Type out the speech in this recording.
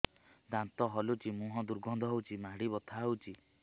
ଦାନ୍ତ ହଲୁଛି ମୁହଁ ଦୁର୍ଗନ୍ଧ ହଉଚି ମାଢି ବଥା ହଉଚି